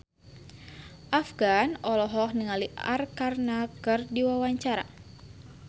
Afgan olohok ningali Arkarna keur diwawancara